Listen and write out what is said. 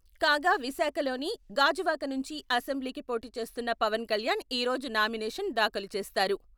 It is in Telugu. కాగా విశాఖలోని గాజువాక నుంచి అసెంబ్లీకి పోటీచేస్తున్న పవన్ కళ్యాణ్ ఈరోజు నామినేషన్ దాఖలు చేస్తారు.